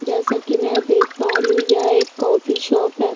जैसा की मै देख पा रही हूँ की यह एक कॉफ़ी शॉप है।